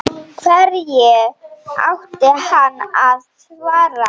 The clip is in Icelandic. Hverju átti hann að svara?